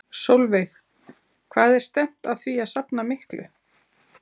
Sólveig: Hvað er stefnt að því að safna miklu?